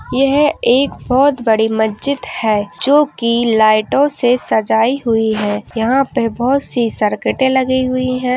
यह एक बहोत बड़ी मस्जिद है जोकि लाइटों से सजाई हुई है। यहाँ पे बहोत सी सरकटे लगी हुई हैं।